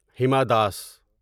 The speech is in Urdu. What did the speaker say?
ہیما داس